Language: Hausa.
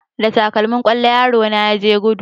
Da takalmin kwallo yaro na ya je gudu